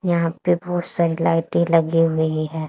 यहां पे बहोत सारी लाइटें लगी हुई है।